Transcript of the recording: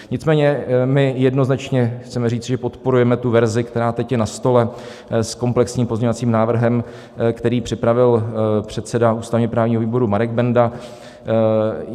Nicméně my jednoznačně chceme říci, že podporujeme tu verzi, která teď je na stole, s komplexním pozměňovacím návrhem, který připravil předseda ústavně-právního výboru Marek Benda.